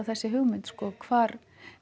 þessi hugmynd hvar